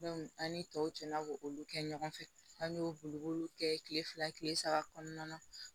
an ni tɔw cɛna k'olu kɛ ɲɔgɔn fɛ an y'o bolo kɛ kile fila kile saba kɔnɔna na